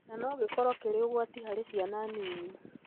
na no gĩkorũo kĩrĩ ũgwati harĩ ciana nini.